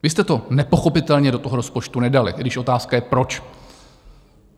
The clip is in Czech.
Vy jste to nepochopitelně do toho rozpočtu nedali, i když otázka je proč.